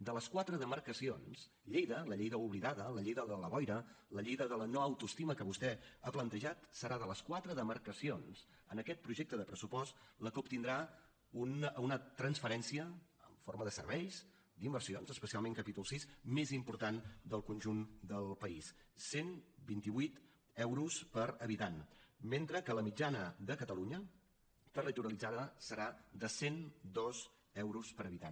de les quatre demarcacions lleida la lleida oblidada la lleida de la boira la lleida de la no autoestima que vostè ha plantejat serà de les quatre demarcacions en aquest projecte de pressupost la que obtindrà una transferència en forma de serveis d’inversions especialment capítol vi més important del conjunt del país cent i vint vuit euros per habitant mentre que la mitjana de catalunya territorialitzada serà de cent i dos euros per habitant